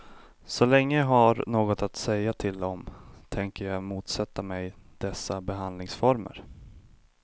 Så länge jag har något att säga till om tänker jag motsätta mig dessa behandlingsformer.